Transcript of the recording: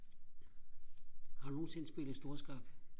har du nogensinde spillet storskak